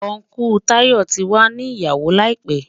Ùncle Tayọ̀ tí wà ní ìyàwó láìpẹ̀.